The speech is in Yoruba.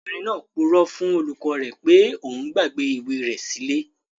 Ọmọbìnrin náà purọ́ fún olùkọ́ rẹ̀ pé òun gbàgbé ìwé rẹ̀ sí ilé